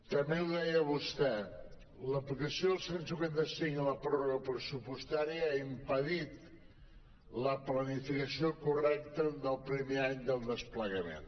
també ho deia vostè l’aplicació del cent i cinquanta cinc i la pròrroga pressupostària ha impedit la planificació correcta del primer any del desplegament